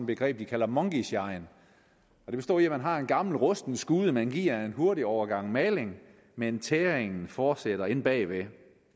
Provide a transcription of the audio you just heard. begreb de kalder monkeyshine og det består i at man har en gammel rusten skude som man giver en hurtig omgang maling men tæringen fortsætter inde bag ved